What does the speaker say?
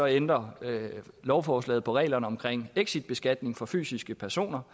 ændrer lovforslaget på reglerne om exitbeskatning for fysiske personer